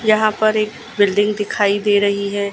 यहां पर एक बिल्डिंग दिखाई दे रही है।